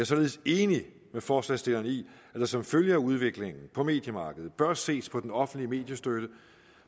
således enig med forslagsstillerne i at der som følge af udviklingen på mediemarkedet bør ses på den offentlige mediestøtte